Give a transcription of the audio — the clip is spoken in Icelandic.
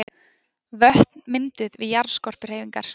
Vötn mynduð við jarðskorpuhreyfingar.